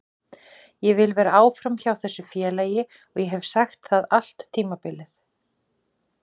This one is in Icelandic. Ég vil vera áfram hjá þessu félagi og ég hef sagt það allt tímabilið.